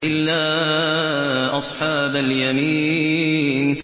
إِلَّا أَصْحَابَ الْيَمِينِ